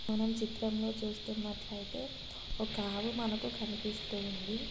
మనం చిత్రం లో చూస్తున్నట్లయితే ఒక ఆవు మనకు కనిపిస్తూ ఉంది.